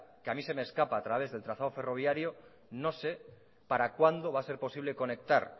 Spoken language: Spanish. que a mí se me escapa a través del trazado ferroviario no sé para cuando va a ser posible conectar